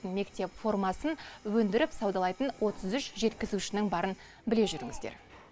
мектеп формасын өндіріп саудалайтын отыз үш жеткізушінің барын біле жүріңіздер